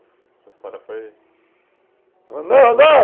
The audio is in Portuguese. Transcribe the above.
A sua história foi... Não, não, não!